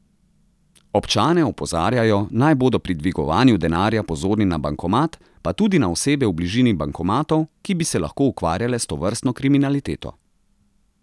Občane opozarjajo, naj bodo pri dvigovanju denarja pozorni na bankomat pa tudi na osebe v bližini bankomatov, ki bi se lahko ukvarjale s tovrstno kriminaliteto.